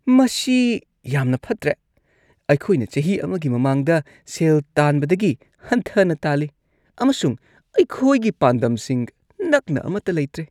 ꯃꯁꯤ ꯌꯥꯝꯅ ꯐꯠꯇ꯭ꯔꯦ! ꯑꯩꯈꯣꯏꯅ ꯆꯍꯤ ꯑꯃꯒꯤ ꯃꯃꯥꯡꯗ ꯁꯦꯜ ꯇꯥꯟꯕꯗꯒꯤ ꯍꯟꯊꯅ ꯇꯥꯜꯂꯤ, ꯑꯃꯁꯨꯡ ꯑꯩꯈꯣꯏꯒꯤ ꯄꯥꯟꯗꯝꯁꯤꯡ ꯅꯛꯅ ꯑꯃꯠꯇ ꯂꯩꯇ꯭ꯔꯦ꯫